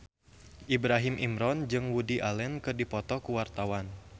Ibrahim Imran jeung Woody Allen keur dipoto ku wartawan